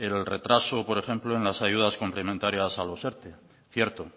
el retraso por ejemplo en las ayudas complementarias a los erte cierto